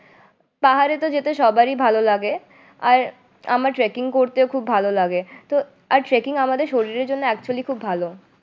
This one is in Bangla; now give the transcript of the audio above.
পাহাড়ে যেতে তো সবারই ভালো লাগে আর আমার tracking করতেও খুব ভালো লাগে তো আর tracking আমাদের শরীরের জন্য actually খুব ভালো